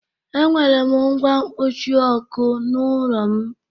E nwere m ngwa mkpuchịọkụ n'ulọ m.